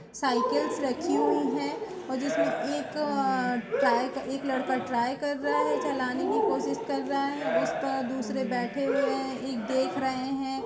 Cycles रखी हुई है और जिसमे एक अ ट्राय एक लड़का ट्राय कर रहा है चलाने की कोशिश कर रहा है उस पर दूसरे बैठे हुए हैं एक देख रहे हैं।